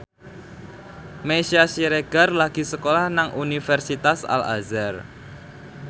Meisya Siregar lagi sekolah nang Universitas Al Azhar